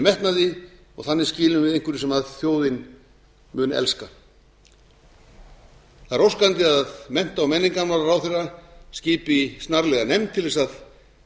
metnaði og þannig skilum við einhverju sem þjóðin mun elska það er óskandi að mennta og menningarmálaráðherra skipi snarlega nefnd til að